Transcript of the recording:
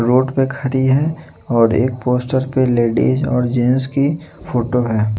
Road पर खड़ी है और एक पोस्टर पे लेडीज और जेंट्स की फोटो है।